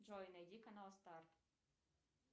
джой найди канал старт